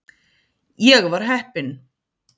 Ég var heppinn.